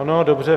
Ano, dobře.